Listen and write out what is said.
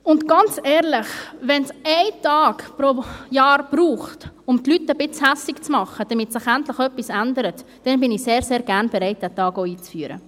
Ganz ehrlich, wenn es einen Tag pro Jahr braucht, um die Leute ein wenig wütend zu machen, damit sich endlich etwas ändert, dann bin ich sehr, sehr gerne bereit, diesen Tag auch einzuführen.